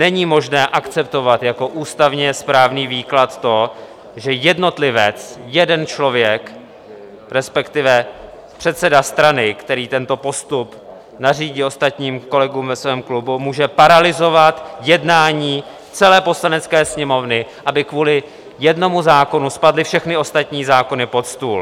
Není možné akceptovat jako ústavně správný výklad to, že jednotlivec, jeden člověk, respektive předseda strany, který tento postup nařídil ostatním kolegům ve svém klubu, může paralyzovat jednání celé Poslanecké sněmovny, aby kvůli jednomu zákonu spadly všechny ostatní zákony pod stůl.